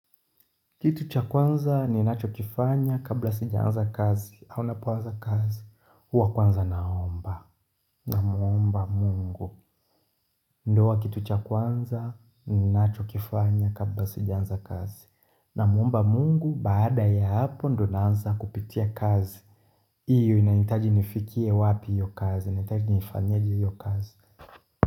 Kitu cha kwanza ni nacho kifanya kabla sijaanza kazi, au napoanza kazi, huwa kwanza naomba, na muomba mungu, ndo huwa kitu cha kwanza ni nacho kifanya kabla sijaanza kazi, na muomba mungu baada ya hapo ndo naanza kupitia kazi, iyo inahitaji nifikie wapi hiyo kazi, inaintaji nifanyeje hiyo kazi.